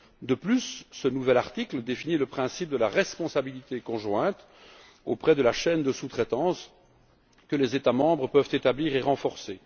De plus, ce nouvel article définit le principe de la responsabilité conjointe dans la chaîne de sous traitance que les État membres peuvent établir et renforcer.